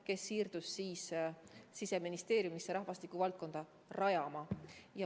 Mul tuli siirduda Siseministeeriumisse rahvastikuvaldkonda rajama.